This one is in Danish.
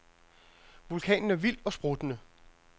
Vulkanen er vild og spruttende.